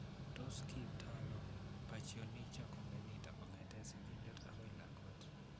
Tos kiipto ano Pachyonychia congenita kong'etke sigindet akoi lakwet?